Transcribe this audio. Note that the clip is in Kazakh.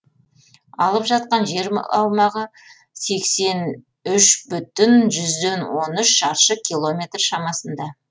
алып жатқан жер аумағы сексен үш бүтін жүзден он үш шаршы километр шамасында